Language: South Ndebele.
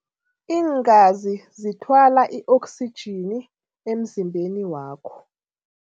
Iingazi zithwala i-oksijini emzimbeni wakho.